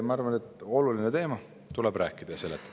Ma arvan, et see oluline teema, sellest tuleb rääkida ja seda seletada.